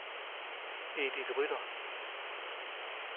Edith Rytter